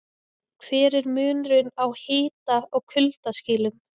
Hver er munurinn á hita- og kuldaskilum?